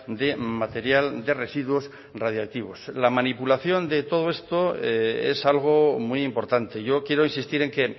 de material de residuos radiactivos la manipulación de todo esto es algo muy importante yo quiero insistir en que